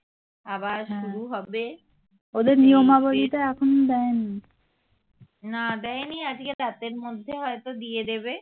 না দেয়নি আজকে রাতের মধ্যে হয়তো দিয়ে দেবে